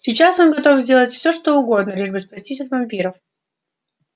сейчас он готов сделать все что угодно лишь бы спастись от вампиров